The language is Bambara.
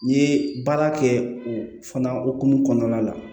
N'i ye baara kɛ o fana hokumu kɔnɔna la